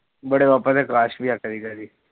ਬੜੇ ਪਾਪਾ ਤੇ